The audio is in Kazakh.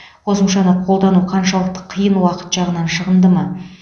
қосымшаны қолдану қаншалықты қиын уақыт жағынан шығынды ма